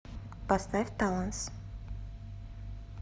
поставь талонс